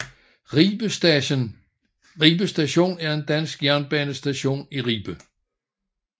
Ribe Station er en dansk jernbanestation i Ribe